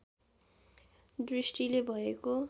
दृष्टिले भएको